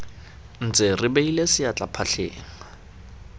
ntse re beile seatla phatleng